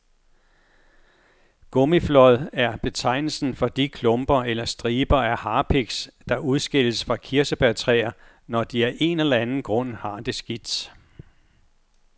Gummiflåd er betegnelsen for de klumper eller striber af harpiks, der udskilles fra kirsebærtræer, når de af en eller anden grund har det skidt.